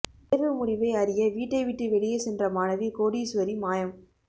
தேர்வு முடிவை அறிய வீட்டை விட்டு வெளியே சென்ற மாணவி கோடீஸ்வரி மாயம்